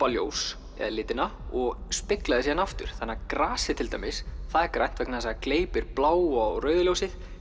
ljós eða litina og spegla því síðan aftur þannig að grasið er grænt vegna þess að það gleypir bláa og rauða ljósið